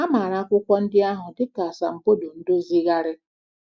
A maara akwụkwọ ndị ahụ dị ka Asambodo Ndozigharị.